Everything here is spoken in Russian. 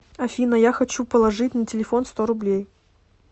афина я хочу положить на телефон сто рублей